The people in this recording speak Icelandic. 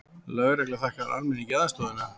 Lögregla þakkar almenningi aðstoðina